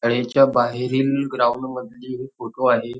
शाळेच्या बाहेरील ग्राउंड मधीले हे फोटो आहे.